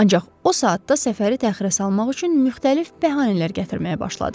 Ancaq o saatda səfəri təxirə salmaq üçün müxtəlif bəhanələr gətirməyə başladı.